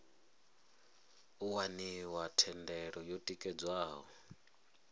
u waniwa thendelo yo tikedzwaho